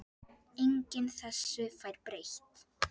Enginn þessu fær breytt.